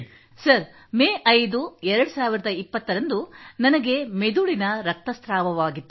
sir ತಾರೀಖು May 5 2020 ರಂದು ನನಗೆ ಮೆದುಳಿನ ರಕ್ತಸ್ರಾವವಾಗಿತ್ತು